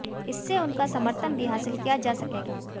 इससे उनका समर्थन भी हासिल किया जा सकेगा